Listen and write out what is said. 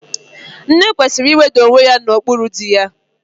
Nne kwesịrị iweda onwe ya n'okpuru dị ya